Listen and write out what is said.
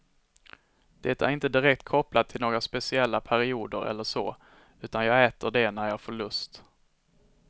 Det är inte direkt kopplat till några speciella perioder eller så, utan jag äter det när jag får lust.